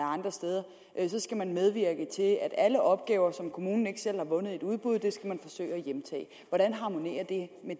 andre steder skal man medvirke til at at alle opgaver som kommunen ikke selv har vundet i et udbud hvordan harmonerer